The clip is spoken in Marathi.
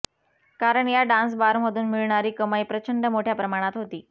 कारण या डान्सबारमधून मिळणारी कमाई प्रचंड मोठय़ा प्रमाणात होती